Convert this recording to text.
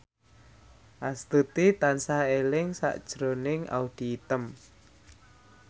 Astuti tansah eling sakjroning Audy Item